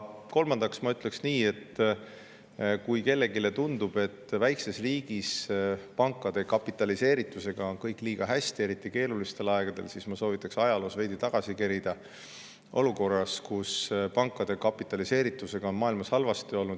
Kolmandaks ütlen nii, et kui kellelegi tundub, et väikeses riigis on pankade kapitaliseeritusega kõik liiga hästi, eriti keerulistel aegadel, siis ma soovitan ajaloos veidi tagasi kerida, vaadata aega, kui pankade kapitaliseeritusega oli maailmas halvasti.